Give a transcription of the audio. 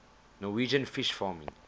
norwegian fish farming